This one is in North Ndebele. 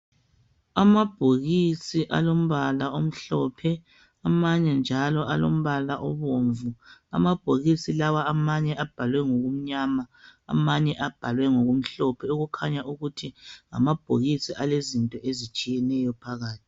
Alabhokisi alombala umhlophe amanye njalo alombala ombomvu amabhokisi lawa amabhalwe mgokumnyama amanye ngokumhlophe okutshengisa ukuthi amabhokisi lawa ngamabhokisi alezinto ezitshiyeneyo phakathi